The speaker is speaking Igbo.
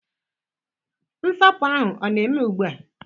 Nsapu ahu o na-eme ugbu a?